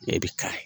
Ne bɛ ka